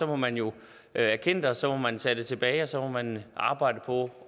må man jo erkende det og så må man tage det tilbage og så må man arbejde på